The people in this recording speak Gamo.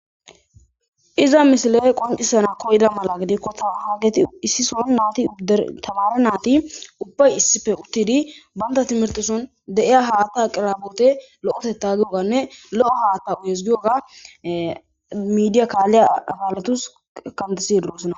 Iza misiley qoncisana koyda mala gidikko hageti issi son naati tamare naati ubbay issipe uttidi banta timirte son de'iya haatta aqirboote lo'eteta giyoganne lo'o haatta uyes giyoga midiya kaalliya akaletus kantasidi doosana.